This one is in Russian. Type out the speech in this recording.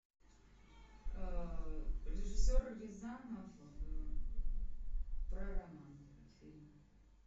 режиссер рязанов про роман фильм